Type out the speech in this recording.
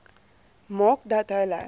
maak dat hulle